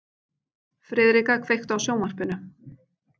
Friðrika, kveiktu á sjónvarpinu.